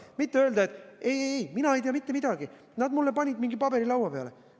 Mitte öelda, et ei-ei, mina ei tea mitte midagi, nad panid mulle mingi paberi laua peale.